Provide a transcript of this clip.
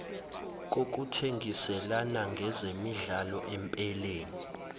kokuthengiselana ngezemidlalo empeleni